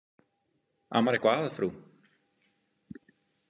Amar eitthvað að, frú?